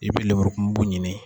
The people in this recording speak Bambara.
I bɛe lemurukubu ɲini